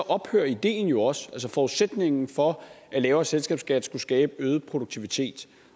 ophører ideen jo også altså forudsætningen for at lavere selskabsskat skulle skabe øget produktivitet